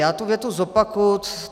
Já tu větu zopakuji.